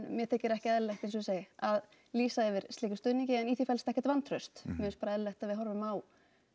mér þykir ekki eðlilegt eins og ég segi að lýsa yfir slíkum stuðningi en í því felst ekkert vantraust mér finnst bara eðlilegt að við horfum á